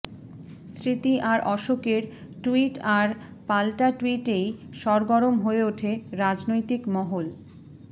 স্মৃতি আর অশোকের ট্যুইট আর পালটা ট্যুইটেই সরগরম হয়ে ওঠে রাজনৈতিক মহল